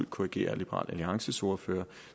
korrigere liberal alliances ordfører